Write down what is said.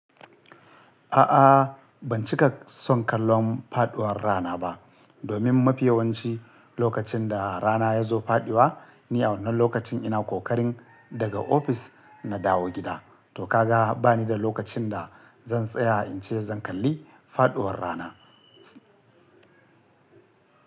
A'a ban cika son kallon faɗuwar rana ba, domin mafi yawancin lokacin da rana ta zo faɗuwa, ni a wannan lokacin ina kokarin daga ofis na dawo gida. To ka ga ba ni da lokacin da zan tsaya in ce zan kalli faɗuwar rana.